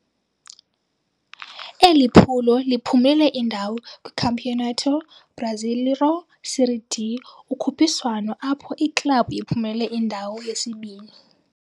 Eli phulo liphumelele indawo kwiCampeonato Brasileiro Série D, ukhuphiswano apho iklabhu iphumelele indawo yesibini.